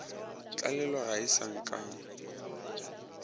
tlalelo ge a sa akame